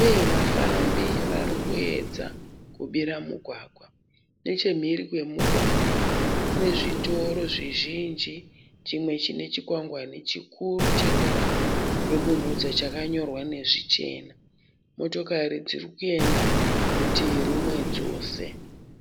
uye vafambi vari kuyedza kubira mugwagwa, nechemhiri kwemugwagwa kune zvitoro zvizhinji chimwe chine chikwangwani chikuru cheruvara rwebumhudza chakanyorwa nezvichena motokari dziri kuenda rutivi rumwe dzose.